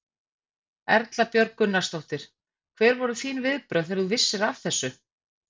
Erla Björg Gunnarsdóttir: Hver voru þín viðbrögð þegar þú vissir af þessu?